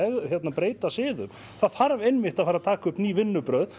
breyta siðum það þarf einmitt að fara að taka upp ný vinnubrögð